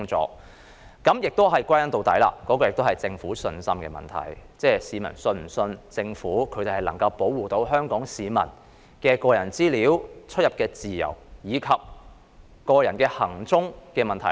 歸根究底，這同樣是對政府有否信心的問題，即市民是否相信政府能夠保護香港市民的個人資料、出入自由，以及個人行蹤資料。